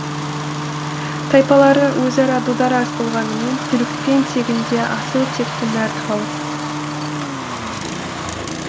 тайпалары өзара дүрдараз болғанымен түрікпен тегінде асыл текті мәрт халық